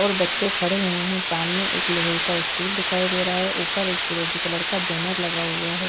और बच्चे खड़े हुए हैं। सामने एक लोहे का स्टूल दिखाई दे रहा है ऊपर एक फिरोजी कलर का बैनर लगा हुआ है।